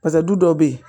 Pasa du dɔw bɛ yen